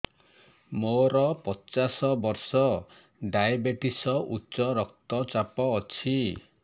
ମୋର ପଚାଶ ବର୍ଷ ଡାଏବେଟିସ ଉଚ୍ଚ ରକ୍ତ ଚାପ ଅଛି